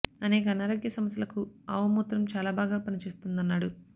అనేక అనారోగ్య సమస్యలకు ఆవు మూత్రం చాలా బాగా పని చేస్తుందన్నాడు